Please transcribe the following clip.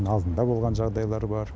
алдында болған жағдайлар бар